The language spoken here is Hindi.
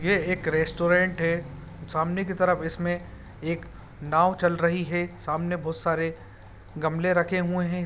यह एक रेस्टोरेंट है सामने के तरफ इसमें एक नाव चल रही है सामने बहोत सारे गमले रखे हुए हैं।